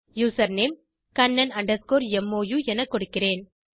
username Kannan mou என கொடுக்கிறேன்